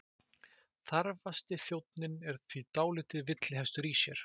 Þarfasti þjónninn er því dálítill villihestur í sér.